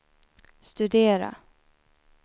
studera